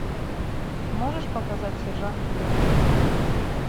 можешь показать сержант йорк